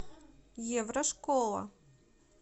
еврошкола